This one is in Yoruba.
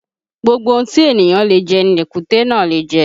Gbogbo ohun tí èniyàn le jẹ ni èkúté náà le jẹ